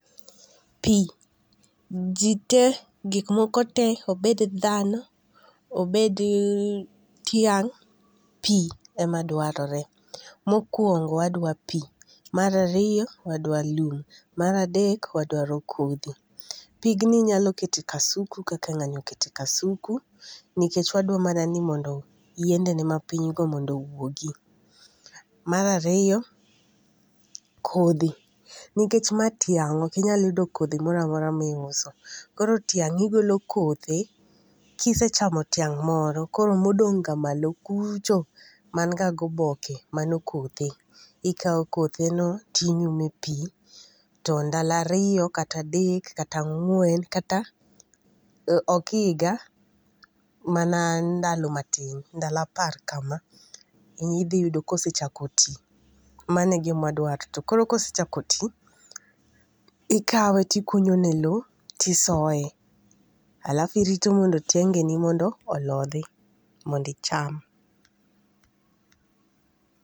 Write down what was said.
Pii, ji te, gikmoko te, obed dhano, obed tiang'. Pii imedwarore. Mokuongo wadwa pii, mar ariyo wadwa lum, mar adek wadwaro kodhi. Pigni inyalo keto e kasuku kaka ng'ani oketo e kasuku, nikech wadwa mana ni mondo yiendene mapinygo mondo owuogi. Mar ariyo kodhi, nikech ma tiang' okinyal yudo kodhi moramora miuso. Koro tiang' igolo kothe kisechamo tiang' moro, koro modong' ga malo kucho man ga goboke mano kothe. Ikao kotheno tinyumo e pii, to ndalo ariyo kata adek kata ang'wen kata ok iga, mana ndalo matin. Ndalo apar kama. Idhi yudo kosechako ti. Mano e gima wadwaro. To koro kosechako tii, ikawe tikunyone loo tisoye. Alafu irito mondo tiangeni mondo olodhi mondo icham.